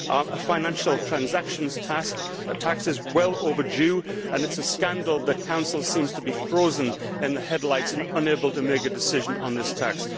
A financial transactions tax is well overdue, and it is a scandal that the Council seems to be frozen in the headlights and unable to make a decision on this tax.